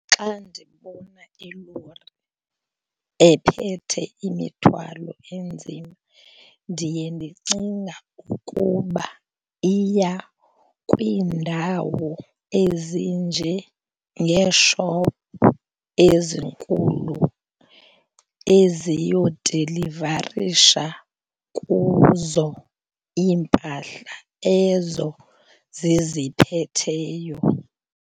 Xa ndibona ilori ephethe imithwalo enzima ndiye ndicinga ukuba iya kwiindawo ezinjengeeshophu ezinkulu eziyodilivarisha kuzo iimpahla ezo ziziphetheyo.